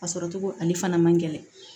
A sɔrɔ cogo ale fana man gɛlɛn